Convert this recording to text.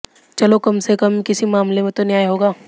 चलो कम से कम किसी मामले में तो न्याय होगा